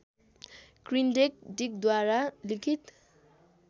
किन्ड्रेक डिकद्वारा लिखित